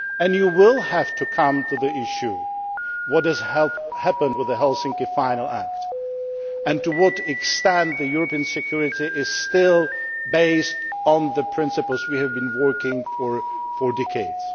You will have to look at the issue of what has happened with the Helsinki Final Act and to what next extent European security is still based on the principles we have been working on for decades.